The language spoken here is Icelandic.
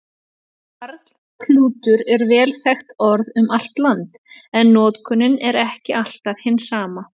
Karklútur er vel þekkt orð um allt land, en notkunin er ekki alltaf hin sama.